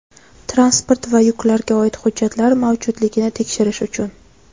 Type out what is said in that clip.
transport va yuklarga oid hujjatlar mavjudligini tekshirish uchun.